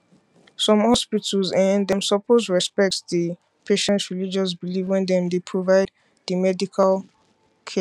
some hospitals[um]dem suppose respect di patients religious beliefs why dem dey provide di medical care